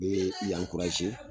Bee i ankuraze kɔrɔ